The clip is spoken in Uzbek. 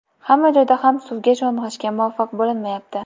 Hamma joyda ham suvga sho‘ng‘ishga muvaffaq bo‘linmayapti.